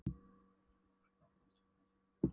Vegir þínir eru óskiljanlegir en þú vísar mér rétta leið.